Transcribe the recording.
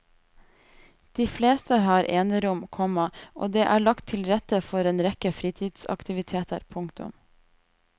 De fleste har enerom, komma og det er lagt til rette for en rekke fritidsaktiviteter. punktum